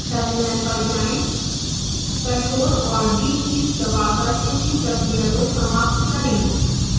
terminal पर जाएं ctrl और d कीज दबाकर पिछली प्रक्रिया को समाप्त करें